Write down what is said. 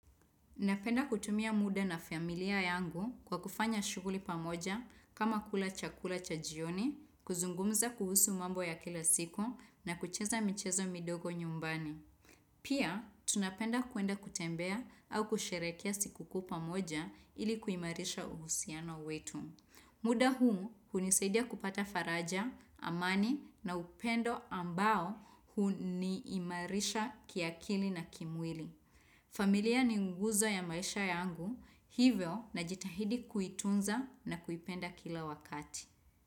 Napenda kutumia muda na familia yangu kwa kufanya shughuli pamoja kama kula chakula chajioni, kuzungumza kuhusu mambo ya kila siku na kucheza michezo midogo nyumbani. Pia, tunapenda kuenda kutembea au kusherekea siku kuu pamoja ili kuimarisha uhusiano wetu. Muda huu hunisaidia kupata faraja, amani na upendo ambao huniimarisha kiakili na kimwili. Familia ni nguzo ya maisha yangu hivyo najitahidi kuitunza na kuipenda kila wakati.